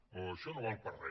o això no val per a re